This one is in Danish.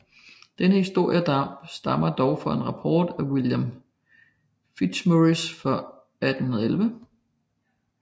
Denne historie stammer dog fra en rapport af William Fitzmaurice fra 1811